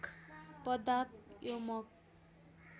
पादाँत यमक